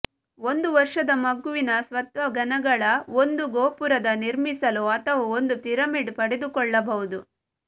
ಒಂದು ವರ್ಷದ ಮಗುವಿನ ಸ್ವತಃ ಘನಗಳ ಒಂದು ಗೋಪುರದ ನಿರ್ಮಿಸಲು ಅಥವಾ ಒಂದು ಪಿರಮಿಡ್ ಪಡೆದುಕೊಳ್ಳಬಹುದು